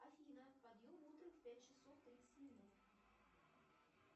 афина подъем утром в пять часов тридцать минут